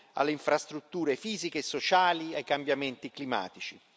alle infrastrutture fisiche e sociali, ai cambiamenti climatici.